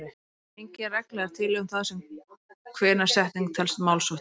Engin regla er til um það hvenær setning telst málsháttur.